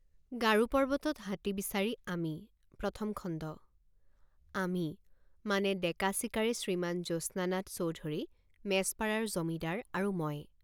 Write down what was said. গাৰো পৰ্বতত হাতী বিচাৰি আমি প্ৰথম খণ্ড আমি মানে ডেকা চিকাৰী শ্ৰীমান জ্যোৎস্নানাথ চৌধুৰী মেছপাড়াৰ জমিদাৰ আৰু মই।